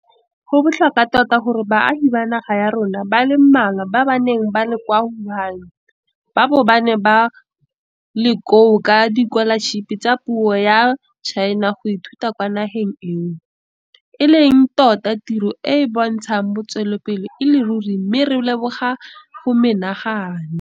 Go botlhokwa tota gore baagi ba naga ya rona ba le mmalwa ba ba neng ba le kwa Wuhan ba bo ba ne ba le koo ka dikolašipi tsa puso ya China go ithuta kwa nageng eo, e leng tota tiro e e bontshang botswapelo e le ruri mme re leboga go menagane.